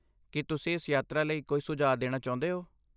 ਕੀ ਤੁਸੀਂ ਇਸ ਯਾਤਰਾ ਲਈ ਕੋਈ ਸੁਝਾਅ ਦੇਣਾ ਚਾਹੁੰਦੇ ਹੋ?